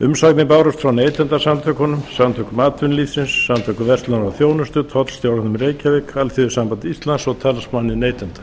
málið var sent til umsagnar og bárust umsagnir frá neytendasamtökunum samtökum atvinnulífsins og samtökum verslunar og þjónustu tollstjóranum í reykjavík alþýðusambandi íslands og talsmanni neytenda